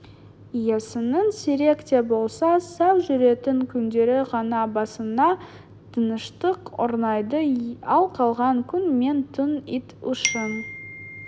иесінің сирек те болса сау жүретін күндері ғана басына тыныштық орнайды ал қалған күн мен түн ит үшін